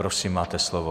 Prosím, máte slovo.